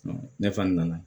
Ne fana nana